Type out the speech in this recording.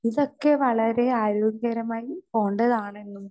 speaker 2 ഇതൊക്കെ വളരെ ആരോഗ്യകരമായി പോണ്ടതാണെന്നും